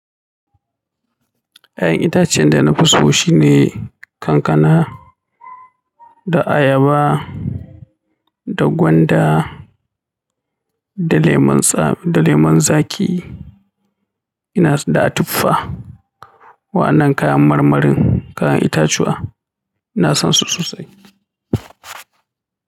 Ya'yan itacen da na fi so shine kankana da ayaba da gwanda, da lemun tsa da lemun zaki ina so da tufaa. Wa an nan kayan mar marin kayan itatuwa ina san su sosai.